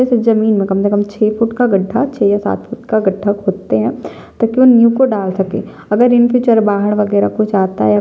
इस जमीन में कम से कम छे फुट का गड्ढा छे या सात फुट का गड्ढा खोदते है ताकी वो नींव को डाल सके अगर इन पे वगैरह कुछ आता है।